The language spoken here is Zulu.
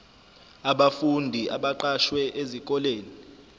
abafundi abaqashwe esikoleni